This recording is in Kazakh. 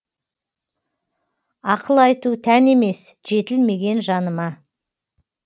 ақыл айту тән емес жетілмеген жаныма